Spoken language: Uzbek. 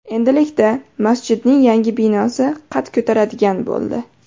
Endilikda masjidning yangi binosi qad ko‘taradigan bo‘ldi.